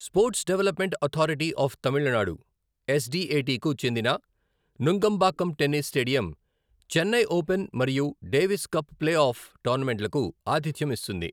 Sports development authority of Tamil Nadu, S D A T కు చెందిన Nungambakkam tennis stadium Chennai open మరియు Davis cup play off టోర్నమెంట్లకు ఆతిథ్యం ఇస్తుంది.